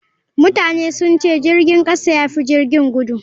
Mutane sun ce jirgin kasa ya fi jirgin gudu.